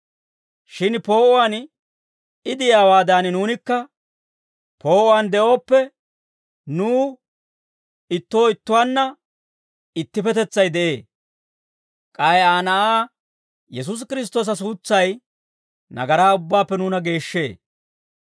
Shin poo'uwaan I de'iyaawaadan, nuunikka poo'uwaan de'ooppe, nuw ittoo ittuwaanna ittippetetsay de'ee; k'ay Aa Na'aa, Yesuusi Kiristtoosa suutsay nagaraa ubbaappe nuuna geeshshee.